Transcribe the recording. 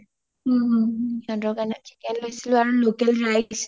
সিহতৰ কাৰণে chicken লৈছিলো আৰু local rice